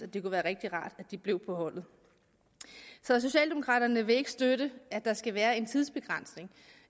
det kunne være rigtig rart blev på holdet så socialdemokraterne vil ikke støtte at der skal være en tidsbegrænsning